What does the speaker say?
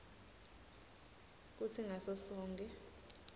kutsi ngaso sonkhe